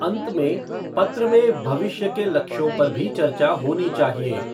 अंत में, पत्र में भविष्य के लक्ष्यों पर भी चर्चा होनी चाहिए।